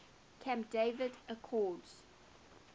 camp david accords